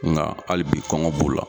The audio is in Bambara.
Nka hali bi'i kɔngɔ b'o la.